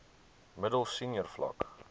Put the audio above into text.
middel senior vlak